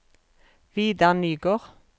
Vidar Nygård